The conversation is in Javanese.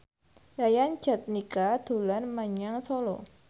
Yayan Jatnika dolan menyang Solo